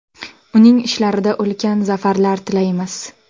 Uning ishlarida ulkan zafarlar tilaymiz.